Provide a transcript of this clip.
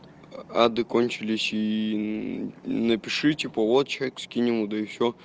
ады кончились ии напиши типа вот человек скинь ему да и все